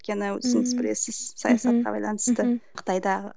өйткені өзіңіз білесіз саясатқа байланысты қытайдағы